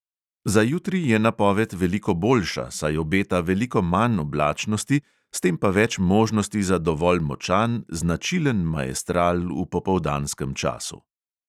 Za jutri je napoved veliko boljša, saj obeta veliko manj oblačnosti, s tem pa več možnosti za dovolj močan, značilen maestral v popoldanskem času.